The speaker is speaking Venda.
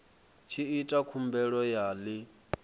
tshi ita khumbelo ya ḽi